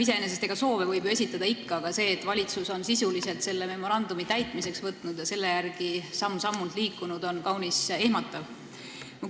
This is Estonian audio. Iseenesest võib soove ju esitada, aga see, et valitsus on sisuliselt selle memorandumi täitmiseks võtnud ja selle järgi samm-sammult liikunud, on kaunis ehmatav.